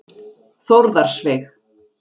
Þórðarsveig